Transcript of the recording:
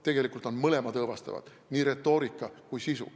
Tegelikult on mõlemad õõvastavad, nii retoorika kui ka sisu.